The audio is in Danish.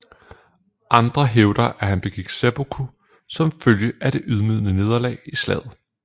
Andre hævder at han begik seppuku som følge af det ydmygende nederlag i slaget